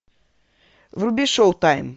вруби шоу тайм